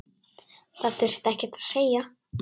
Það þurfti ekkert að segja.